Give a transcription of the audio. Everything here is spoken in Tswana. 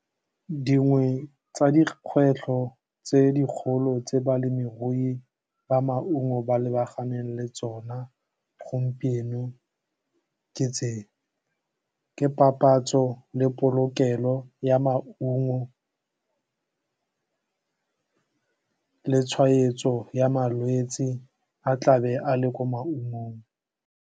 Dingwe tsa dikgwetlho tse dikgolo tse balemirui ba maungo ba lebaganeng le tsona gompieno ke tse ke papatso le polokelo ya maungo, le tshwaetso ya malwetsi a tlabe a le ko maungong.